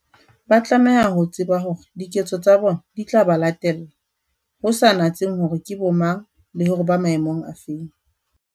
Ba tlameha ho tseba hore diketso tsa bona di tla ba latella, ho sa natsehe hore ke bomang, le hore ba maemong a feng.